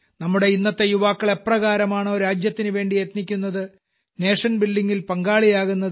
നമ്മുടെ ഇന്നത്തെ യുവാക്കൾ എപ്രകാരമാണോ രാജ്യത്തിനുവേണ്ടി യത്നിക്കുന്നത് നേഷൻ buildingൽ പങ്കാളിയാകുന്നത്